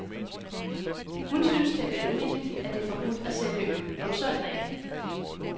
Hun synes at det er vanvittigt, at det er forbudt at sælge øl om søndagen.